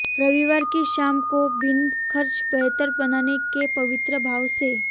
रविवार की शाम को बिना खर्च बेहतर बनाने के पवित्र भाव से